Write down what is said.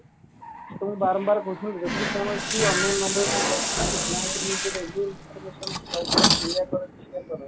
ତମକୁ ବାରମ୍ବାର କହୁଛି ଯଦି କୌଣସି unknown number ରୁ ତମ ପାଖକୁ